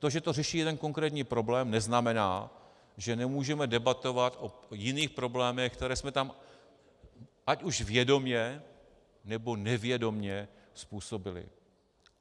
To, že to řeší jeden konkrétní problém, neznamená, že nemůžeme debatovat o jiných problémech, které jsme tam ať už vědomě, nebo nevědomě způsobili.